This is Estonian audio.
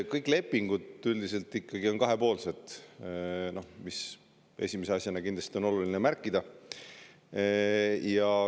Kõik lepingud on üldiselt ikkagi kahepoolsed, seda on esimese asjana kindlasti oluline märkida.